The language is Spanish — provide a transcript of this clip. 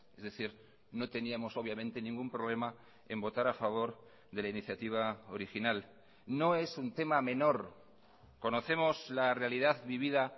es decir no teníamos obviamente ningún problema en votar a favor de la iniciativa original no es un tema menor conocemos la realidad vivida